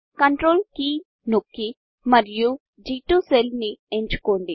CTRLకీ నొక్కి మరియు గ్2 సెల్ ని ఎంచుకోండి